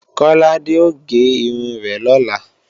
Kọ́ládé ò gé irun rẹ̀ lọ́la